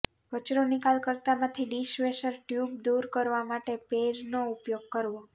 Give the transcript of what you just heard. કચરો નિકાલકર્તામાંથી dishwasher tube દૂર કરવા માટે પેઇરનો ઉપયોગ કરવો